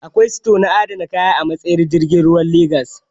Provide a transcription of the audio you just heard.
Akwai sito na adana kaya a matsayar jirgin ruwan Legas